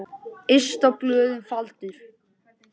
Yst á blöðum faldur.